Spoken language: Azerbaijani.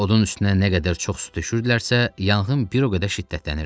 Odun üstünə nə qədər çox su düşürdülərsə, yanğın bir o qədər şiddətlənirdi.